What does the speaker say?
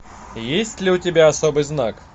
есть ли у тебя особый знак